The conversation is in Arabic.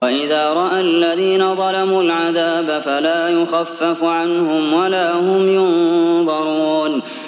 وَإِذَا رَأَى الَّذِينَ ظَلَمُوا الْعَذَابَ فَلَا يُخَفَّفُ عَنْهُمْ وَلَا هُمْ يُنظَرُونَ